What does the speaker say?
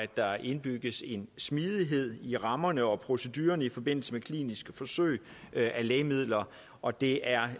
der indbygges en smidighed i rammerne og procedurerne i forbindelse med kliniske forsøg med lægemidler og det er